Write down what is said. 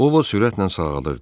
Ovod sürətlə sağalırdı.